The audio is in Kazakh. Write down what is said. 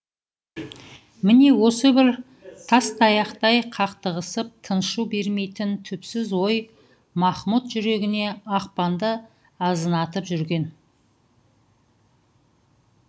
міне осы бір тастаяқтай қақтығысып тыншу бермейтін түпсіз ой махмұт жүрегіне ақпанды азынатып жүрген